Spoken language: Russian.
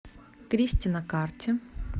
кристи на карте